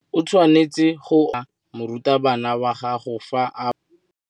O tshwanetse go obamela morutabana wa gago fa a bua le wena.